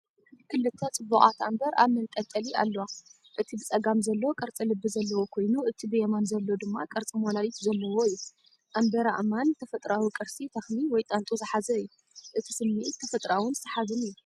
ክልተ ጽቡቓት ኣምበር ኣብ መንጠልጠሊ ኣለዋ። እቲ ብጸጋም ዘሎ ቅርጺ ልቢ ዘለዎ ኮይኑ፡ እቲ ብየማን ዘሎ ድማ ቅርጺ ሞላሊት ዘለዎ እዩ። ኣምበር ኣእማን ተፈጥሮኣዊ ቅርሲ ተኽሊ ወይ ጣንጡ ዝሓዘ እዩ። እቲ ስምዒት ተፈጥሮኣውን ሰሓብን እዩ።